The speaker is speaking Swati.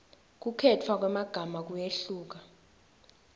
kukhetfwa kwemagama kuyehluka